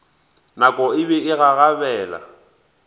nako e be e gagabela